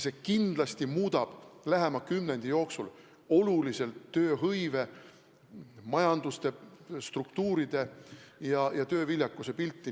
See kindlasti muudab lähema kümnendi jooksul oluliselt tööhõive, majandusstruktuuride ja tööviljakuse pilti.